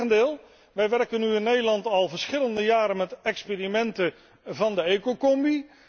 Integendeel, wij werken nu in Nederland al verschillende jaren met experimenten van de ecocombi.